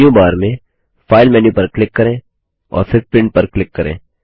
menu bar में file menu पर click करें और फिर Printपर क्लिक करें